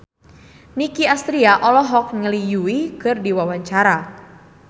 Nicky Astria olohok ningali Yui keur diwawancara